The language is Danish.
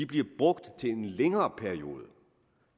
bliver brugt til en længere periode